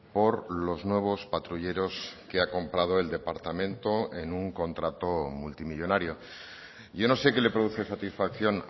por los nuevos patrulleros que ha comprado el departamento en un contrato multimillónario yo no sé qué le produce satisfacción